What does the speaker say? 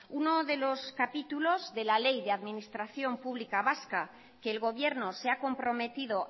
uno de los capítulos de la ley de administración pública vasca que el gobierno se ha comprometido